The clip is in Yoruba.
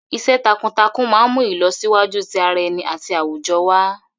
Iṣẹ́ takuntakun máa ń mú ìlọsíwájú ti ara ẹni àti àwùjọ wá.